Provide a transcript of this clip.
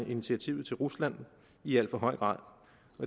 initiativet til rusland i al for høj grad